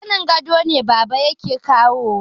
Zanin gado ne baba yake kawowa